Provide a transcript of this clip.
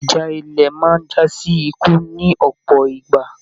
Ìjà ilé máa n jasi ikú ní ọpọ ìgbà.